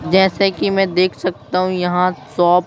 जैसे कि मैं देख सकता हूं यहां शॉप --